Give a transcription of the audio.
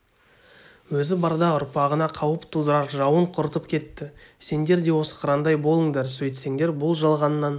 өзі барда ұрпағына қауіп тудырар жауын құртып кетті сендер де осы қырандай болыңдар сөйтсеңдер бұл жалғаннан